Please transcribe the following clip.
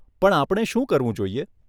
પણ આપણે શું કરવું જોઈએ?